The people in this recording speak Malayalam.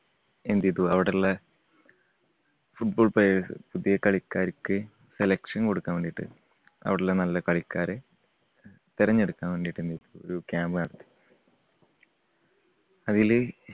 എന്ത് ചെയ്തു അവിടുള്ള football players പുതിയ കളിക്കാർക്ക് selection കൊടുക്കാൻ വേണ്ടിട്ട് അവിടെയുള്ള നല്ല കളിക്കാരെ തെരഞ്ഞെടുക്കാൻ വേണ്ടിയിട്ട് ഒരു camp നടത്തി. അതില്